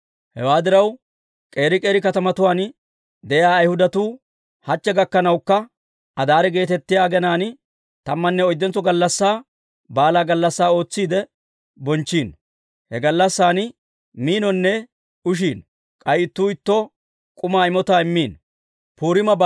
Hewaa diraw, k'eeri k'eeri katamatuwaan de'iyaa Ayhudatuu hachche gakkanawukka Adaare geetettiyaa aginaan tammanne oyddentso gallassaa baala gallassaa ootsiide bonchchiino. He gallassan miinonne ushiino; k'ay ittuu ittoo k'umaa imotaa immiino.